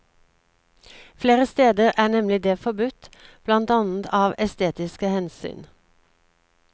Flere steder er nemlig det forbudt, blant annet av estetiske hensyn.